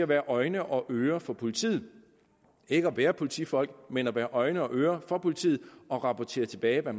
være øjne og ører for politiet ikke at være politifolk men at være øjne og ører for politiet og rapportere tilbage hvad